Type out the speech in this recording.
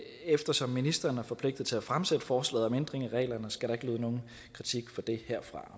eftersom ministeren er forpligtet til at fremsætte forslaget om ændring af reglerne skal der ikke lyde nogen kritik for det herfra